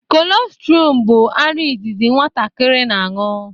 Kolostrum bụ ara izizi nwatakịrị na-aṅụ